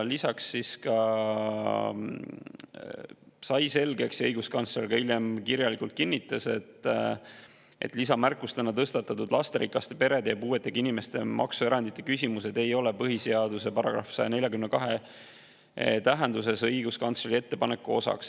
Lisaks sai selgeks ja õiguskantsler hiljem kinnitas seda kirjalikult, et lisamärkustena tõstatatud lasterikaste perede ja puuetega inimeste maksuerandite küsimused ei ole põhiseaduse § 142 tähenduses õiguskantsleri ettepaneku osaks.